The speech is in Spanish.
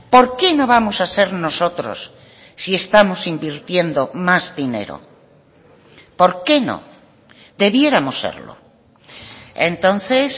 por qué no vamos a ser nosotros si estamos invirtiendo más dinero por qué no debiéramos serlo entonces